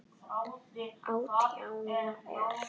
Átján ár.